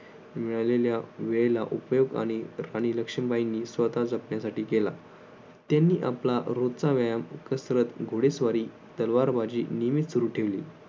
मिळालेल्या वेळेला उपयोग आणि राणी लक्ष्मीबाईंनी स्वतः जपण्यासाठी केला त्यांनी आपला रोजचा व्यायाम कसरत घोडेस्वारी तलवारबाजी नेहमी सुरु ठेवली.